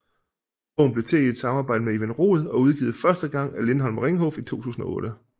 Bogen blev til i et samarbejde med Ivan Rod og udgivet første gang af Lindhardt og Ringhof i 2008